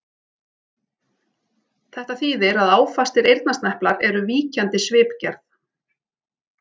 Þetta þýðir að áfastir eyrnasneplar eru víkjandi svipgerð.